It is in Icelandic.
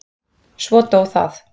Svo dó það.